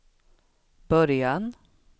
början